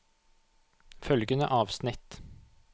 Følgende avsnitt